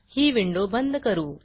ही window बंद करू